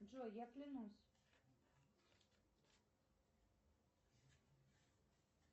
джой я клянусь